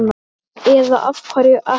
Eða af hverju ekki?